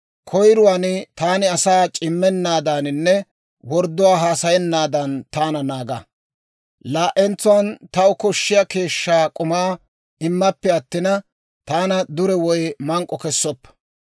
Koyiruwaan, taani asaa c'immennaadaaninne wordduwaa haasayennaadan taana naaga; laa"entsuwaan, taw koshshiyaa keeshshaa k'umaa immappe attina, taana dure woy mank'k'o kessoppa.